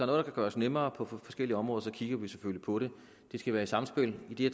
der kan gøres nemmere på forskellige områder så kigger vi selvfølgelig på det det skal være et samspil i det